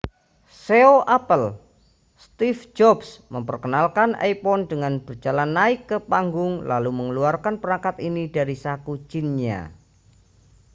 ceo apple steve jobs memperkenalkan iphone dengan berjalan naik ke panggung lalu mengeluarkan perangkat ini dari saku jinnya